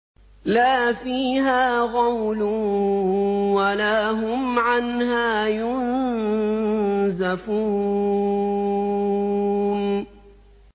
لَا فِيهَا غَوْلٌ وَلَا هُمْ عَنْهَا يُنزَفُونَ